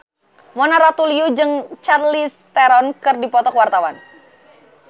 Mona Ratuliu jeung Charlize Theron keur dipoto ku wartawan